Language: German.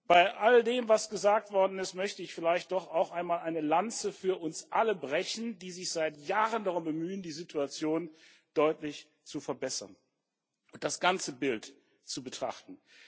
Bei all dem, was gesagt worden ist, möchte ich vielleicht doch auch einmal eine Lanze für uns alle brechen, die sich seit Jahren darum bemühen, die Situation deutlich zu verbessern und das ganze Bild zu betrachten.